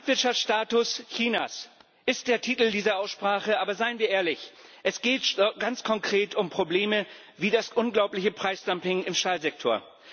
Marktwirtschaftsstatus Chinas ist der Titel dieser Aussprache. Aber seien wir ehrlich Es geht ganz konkret um Probleme wie das unglaubliche Preisdumping im Stahlsektor.